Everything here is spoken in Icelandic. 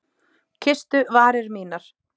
Kysstu varir mínar!